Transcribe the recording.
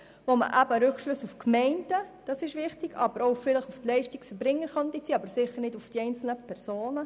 Es ist wichtig, dass man Rückschlüsse auf die Gemeinden und vielleicht auch auf die Leistungserbringer ziehen kann, aber sicher nicht auf die einzelnen Personen.